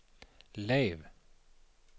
lav